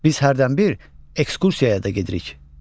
Biz hərdən bir ekskursiyaya da gedirik.